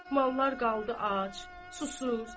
Mallar qaldı ac, susuz.